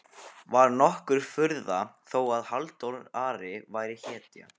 Var nokkur furða þó að Halldór Ari væri hetja?